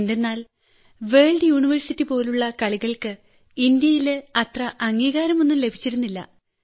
എന്തെന്നാൽ വേൾഡ് യൂണിവേഴ്സിറ്റിപോലുള്ള കളികൾക്ക് ഇന്ത്യയിൽ അത്ര അംഗീകാരമൊന്നും ലഭിച്ചിരുന്നില്ല